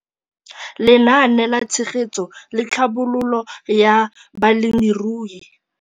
Lenaane la Tshegetso le Tlhabololo ya Balemirui